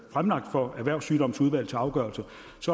fremlagt for erhvervssygdomsudvalget til afgørelse